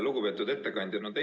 Lugupeetud ettekandja!